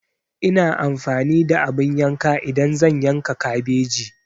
Ina amfani da abin yanka idan zan yanka kabeji.